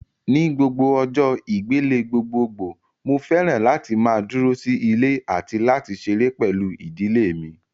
Ni gbogbo ọjọ́ ìgbélé gbogbogbòò mo fẹ́ràn láti máa dúró sí ilé àti láti ṣeré pẹ̀lú ìdílé mi